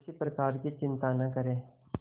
किसी प्रकार की चिंता न करें